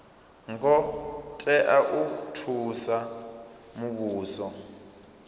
ngo tea u thusa muvhuso